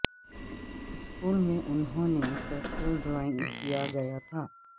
school میں انہوں نے مسلسل ڈرائنگ کیا گیا تھا